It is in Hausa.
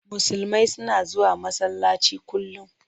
Musulmai suna zuwa masallaci kullum.